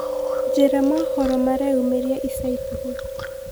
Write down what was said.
njĩĩra mohoro mareyũmiria ĩca ĩkũhĩ